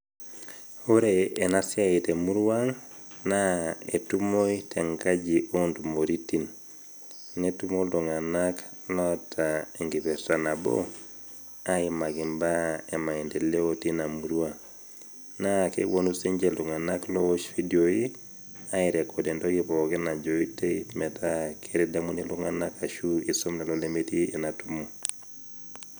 Ore ena siai te emurua aang', naa etumoi te enkaji oo intumoiritin, netumo iltung'ana oata enkipirta nabo aimaki imbaa e maindeleo teina murua. Naa kepuonu sii ninche iltung'ana oyaa ividioi, airekod pooki toki najoito metaa keitadamuni iltung'ana ashu eisom tenepuonu.